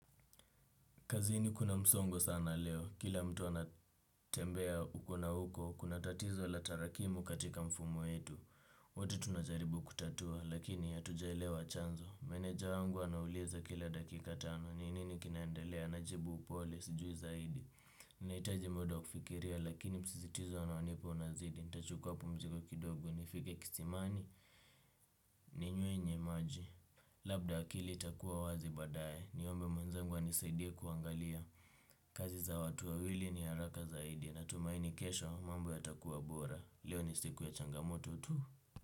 Kazini kuna msongo sana leo, kila mtu ana tembea uku na huko, kuna tatizo la tarakimu katika mfumo wetu. Wote tunajaribu kutatua, lakini hatujelewa chanzo. Meneja wangu anauliza kila dakika tano, ni nini kinaendelea. Najibu upole, sijui zaidi. Ninaitaji mda wa kufikiria, lakini msisitizo anaonipa unazidi. Nitachukua pumziko kidogo, nifike kisimani, ni nyuenye maji. Labda akili itakuwa wazi badaye. Niombe mwenzangu anisaidie kuangalia. Kazi za watu wawili ni haraka zaidi. Natumaini kesho mambo yatakuwa bora. Leo ni siku ya changamoto tu.